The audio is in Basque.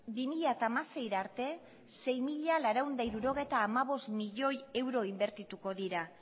bi mila hamaseira arte sei mila laurehun eta hirurogeita hamabost milioi euro inbertituko dira